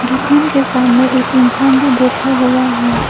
दुकान के सामने एक इंसान भी बैठा हुआ है।